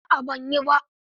A'a ban yi ba.